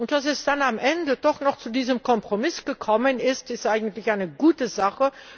Dass es dann am Ende doch noch zu diesem Kompromiss gekommen ist, ist eigentlich eine gute Sache.